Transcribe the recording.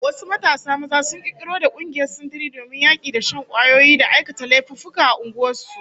Wasu matasa maza sun kirkiro da kungiyar sintiri domin yaki da shan kwayoyi da aikata laifuffuka a unguwar su